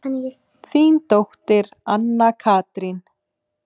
Þín dóttir, Anna Katrín.